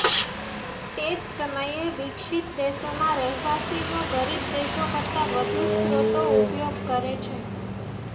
તે જ સમયે વિકસિત દેશોમાં રહેવાસીઓ ગરીબ દેશો કરતાં વધુ સ્રોતો ઉપયોગ કરે છે